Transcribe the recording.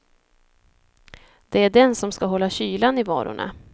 Det är den som ska hålla kylan i varorna.